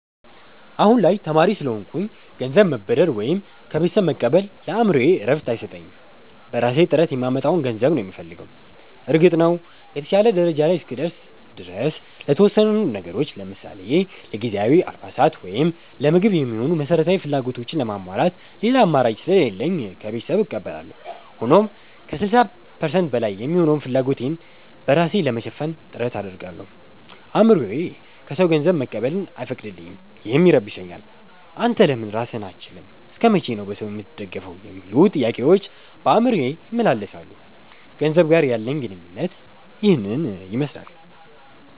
አሁን ላይ ተማሪ ስለሆንኩኝ ገንዘብ መበደር ወይም ከቤተሰብ መቀበል ለአእምሮዬ እረፍት አይሰጠኝም። በራሴ ጥረት የማመጣውን ገንዘብ ነው የምፈልገው። እርግጥ ነው፣ የተሻለ ደረጃ ላይ እስክደርስ ድረስ ለተወሰኑ ነገሮች ለምሳሌ ለጊዜያዊ አልባሳት ወይም ለምግብ የሚሆኑ መሠረታዊ ፍላጎቶችን ለማሟላት ሌላ አማራጭ ስለሌለኝ ከቤተሰብ እቀበላለሁ። ሆኖም ከ60% በላይ የሚሆነውን ፍላጎቴን በራሴ ለመሸፈን ጥረት አደርጋለሁ። አእምሮዬ ከሰው ገንዘብ መቀበልን አይፈቅድልኝም፤ ይህም ይረብሸኛል። 'አንተ ለምን ራስህን አትችልም? እስከ መቼ ነው በሰው የምትደገፈው?' የሚሉ ጥያቄዎች በአእምሮዬ ይመላለሳሉ። ከገንዘብ ጋር ያለኝ ግንኙነት ይህንን ይመስላል።